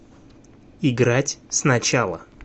играть сначала